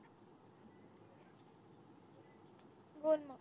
बोल मग